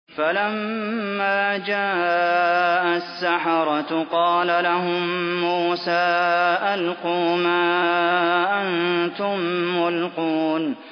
فَلَمَّا جَاءَ السَّحَرَةُ قَالَ لَهُم مُّوسَىٰ أَلْقُوا مَا أَنتُم مُّلْقُونَ